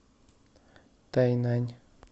тайнань